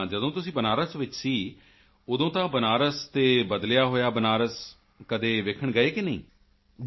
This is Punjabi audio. ਤਾਂ ਜਦੋਂ ਤੁਸੀਂ ਬਨਾਰਸ ਵਿੱਚ ਸੀ ਉਦੋਂ ਦਾ ਬਨਾਰਸ ਅਤੇ ਬਦਲਿਆ ਹੋਇਆ ਬਨਾਰਸ ਕਦੇ ਦੇਖਣ ਗਏ ਕਿ ਨਹੀਂ ਗਏ